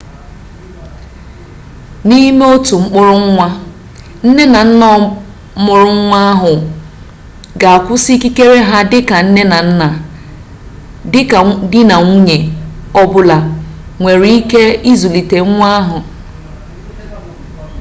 n'ime otu mkpọrọ nwa nne na nna mụrụ nwa ahụ ga-akwụsị ikikere ha dị ka nne na nna ka di na nwunye ọ bụla nwere ike izulite nwa ahụ